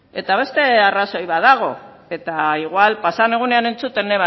eta beste arrazoi bat dago eta igual pasa den egunean entzuten